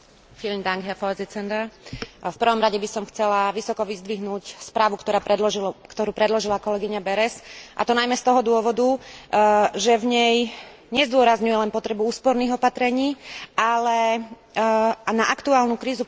V prvom rade by som chcela vysoko vyzdvihnúť správu, ktorú predložila kolegyňa Berès, a to najmä z toho dôvodu, že v nej nezdôrazňuje len potrebu úsporných opatrení, ale na aktuálnu krízu pozerá aj ako na krízu sociálnu.